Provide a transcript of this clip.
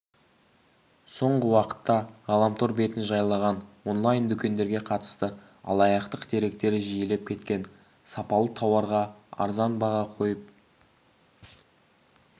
соңғы уақытта ғаламтор бетін жайлаған онлайн-дүкендерге қатысты алаяқтық деректер жиілеп кеткен сапалы тауарға арзан баға қойып